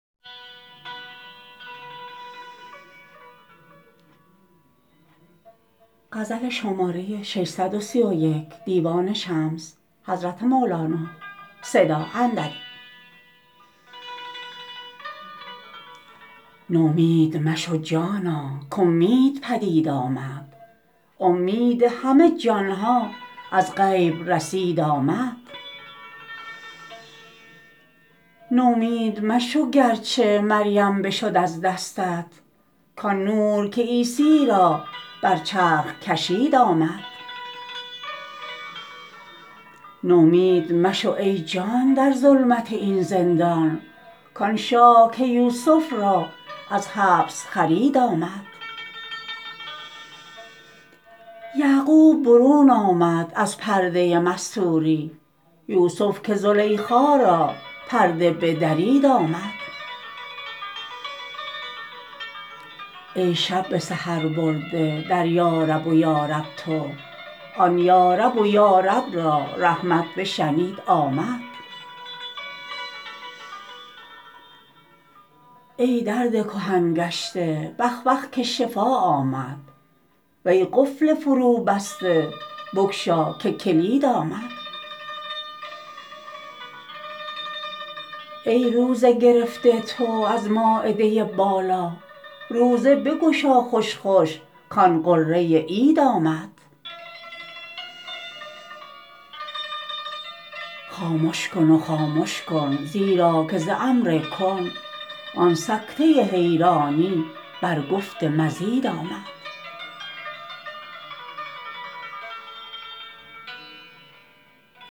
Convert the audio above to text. نومید مشو جانا کاومید پدید آمد اومید همه جان ها از غیب رسید آمد نومید مشو گر چه مریم بشد از دستت کآن نور که عیسی را بر چرخ کشید آمد نومید مشو ای جان در ظلمت این زندان کآن شاه که یوسف را از حبس خرید آمد یعقوب برون آمد از پرده مستوری یوسف که زلیخا را پرده بدرید آمد ای شب به سحر برده در یارب و یارب تو آن یارب و یارب را رحمت بشنید آمد ای درد کهن گشته بخ بخ که شفا آمد وی قفل فروبسته بگشا که کلید آمد ای روزه گرفته تو از مایده بالا روزه بگشا خوش خوش کآن غره عید آمد خامش کن و خامش کن زیرا که ز امر کن آن سکته حیرانی بر گفت مزید آمد